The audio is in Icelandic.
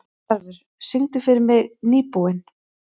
Tarfur, syngdu fyrir mig „Nýbúinn“.